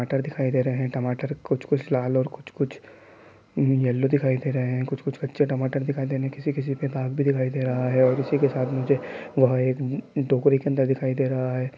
टमाटर दिखाई दे रहे है| टमाटर कुछ कुछ लाल और कुछ कुछ केलो दिखाई दे रहे है| कुछ कुछ कच्चे टमाटर दिखाई देने | किसी किसी पर डाग भी दिखाई दे रहा है| और इसी के साथ नीचे वह एक टोकरी के अंदर दिखाई दे रहा है।